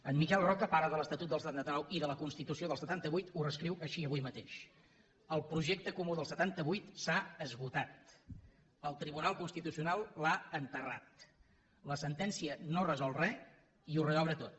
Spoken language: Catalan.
en miquel roca pare de l’estatut del setanta nou i de la constitució del setanta vuit ho reescriu així avui mateix el projecte comú del setanta vuit s’ha esgotat el tribunal constitucional l’ha enterrat la sentència no resol res i ho reobre tot